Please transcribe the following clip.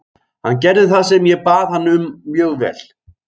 Hann gerði það sem ég bað hann um mjög vel.